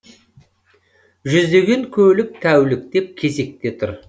жүздеген көлік тәуліктеп кезекте тұр